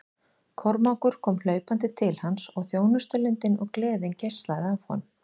Kormákur kom hlaupandi til hans og þjónustulundin og gleðin geislaði af honum.